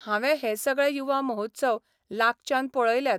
हांवें हे सगळे युवा महोत्सव लागच्यान पळयल्यात.